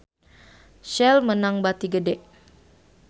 Shell meunang bati gede